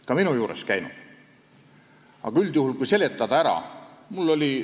Ka minu juures on nad käinud, aga üldjuhul tuleb see lihtsalt ära seletada.